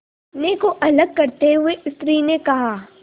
अपने को अलग करते हुए स्त्री ने कहा